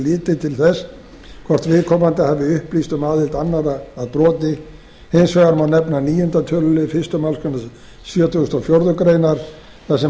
litið til þess hvort viðkomandi hafi upplýst um aðild annarra að broti hins vegar má nefna níundi tölulið fyrstu málsgrein sjötugustu og fjórðu grein þar sem heimilt